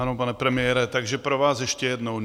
Ano, pane premiére, takže pro vás ještě jednou.